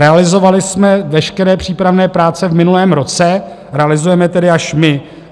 Realizovali jsme veškeré přípravné práce v minulém roce - realizujeme tedy až my.